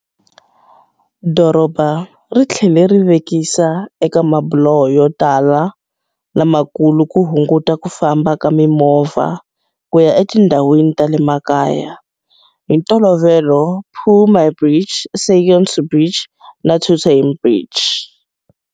Doroba ri tlhele ri vekisa eka mabuloho yo tala lamakulu ku hunguta ku famba ka mimovha ku ya etindhawini ta le makaya, hi ntolovelo Phu My Bridge, Saigon 2 Bridge na Thu Thiem Bridge.